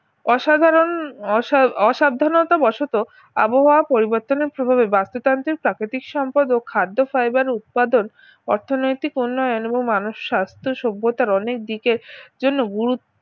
অসাধারণ অসা ওসাবধানতা বসত আবহাওয়া পরিবর্তনের প্রভাবে বাস্তুতান্ত্রিক প্রাকৃতিক সম্পদ ও খাদ্য fiber উৎপাদন অর্থনৈতিক উন্নয়ন এবং মানুষ স্বাস্থ্য সভ্যতার অনেক দিকের জন্য গুরুত্ব